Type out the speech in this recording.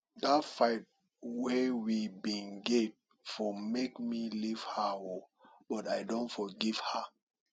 dat fight wey we bin get for make me leave her o but i don forgive her